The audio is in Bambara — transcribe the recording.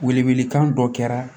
Wele wele kan dɔ kɛra